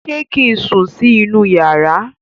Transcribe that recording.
ṣe kín sùn sí inú iyàrá?